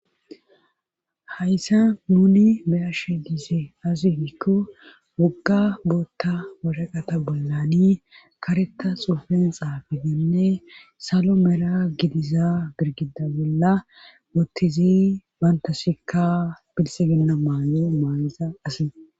Hayssa nuni meyashe giize azihikko wogga bootta warhaqata bollani kareta xuufen xaafidenne salo mera gidiza birgida bolla boottizi bantashika pilsi ginna maayo maalaza asi